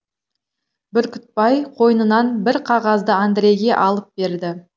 бүркітбай қойнынан бір қағазды андрейге алып берді